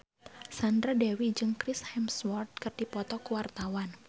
Sandra Dewi jeung Chris Hemsworth keur dipoto ku wartawan